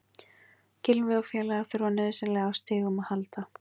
Gylfi og félagar þurfa nauðsynlega á stigum að halda.